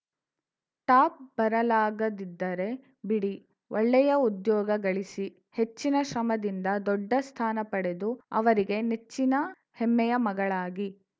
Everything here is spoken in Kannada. ಟಾಪ್‌ ಬರಲಾಗದಿದ್ದರೆ ಬಿಡಿ ಒಳ್ಳೆಯ ಉದ್ಯೋಗ ಗಳಿಸಿ ಹೆಚ್ಚಿನ ಶ್ರಮದಿಂದ ದೊಡ್ಡ ಸ್ಥಾನ ಪಡೆದು ಅವರಿಗೆ ನೆಚ್ಚಿನ ಹೆಮ್ಮೆಯ ಮಗಳಾಗಿ